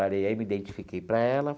Aí me identifiquei para ela.